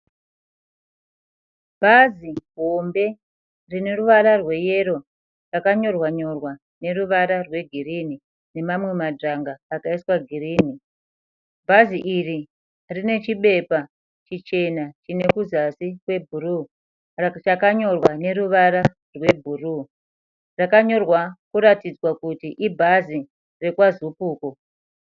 Bhazi hombe rine ruvara rweyero. Rakanyorwa nyorwa neruvara rwegirinhi nemamwe madzvanga akaiswa girinhi. Bhazi iri rine chibepa chichena chine kuzasi kwebhuruu chakanyorwa neruvara rwebhuruu. Rakanyorwa kuratidzwa kuti ibhazi rekwaZupuco.